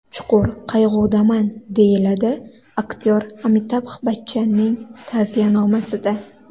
Chuqur qayg‘udaman”, - deyiladi aktyor Amitabh Bachchanning ta’ziyanomasida.